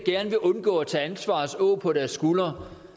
undgå at tage ansvarets åg på deres skuldre